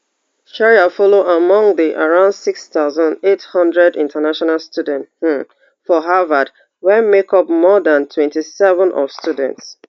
shreya follow among di around six thousand, eight hundred international students um for harvard wey make up more dan twenty-seven of students